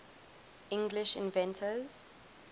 english inventors